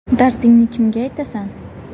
Dardingni kimga aytasan?